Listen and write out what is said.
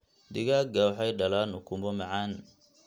Digaagga waxay dhalaan ukumo macaan.